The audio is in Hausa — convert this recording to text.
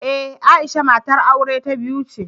Ee, Aisha matar aure ta biyu ce.